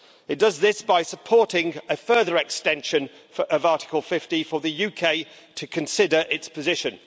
It does this by supporting a further extension of Article 50 for the UK to consider its position.